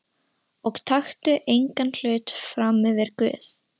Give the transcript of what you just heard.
Og taktu engan hlut frammyfir Guð.